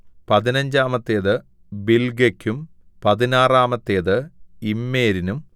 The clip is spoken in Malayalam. പതിനഞ്ചാമത്തേത് ബിൽഗെക്കും പതിനാറാമത്തേത് ഇമ്മേരിനും